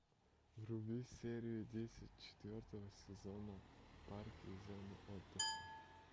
вруби серию десять четвертого сезона парки и зоны отдыха